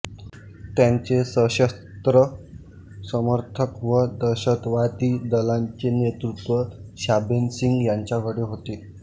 त्यांचे सशस्त्र समर्थक व दहशतवादी दलांचे नेतृत्व शाबेग सिंह यांच्याकडे होते